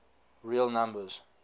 real numbers